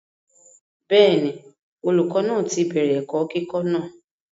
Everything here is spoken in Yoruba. bẹ́ẹ̀ni, olùkọ́ náà ti bẹ̀rẹ̀ ẹ̀kọ́ kíkọ́ náà